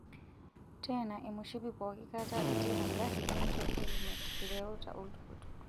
Teena emoshipi pooki kata itii engari ninchop helimet ireuta oltukutuk.